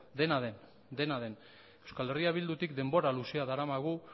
dena den euskal herria bildutik denbora luzea daramagu